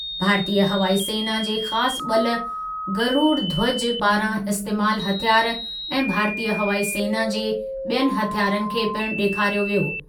भारतीयु हवाई सेना जे ख़ासि ॿलु गरुड़ध्वज पारां इस्तेमालु हथियार ऐं भारतीयु हवाई सेना जे ॿियनि हथियारनि खे पिणु ॾेखारियो वियो ।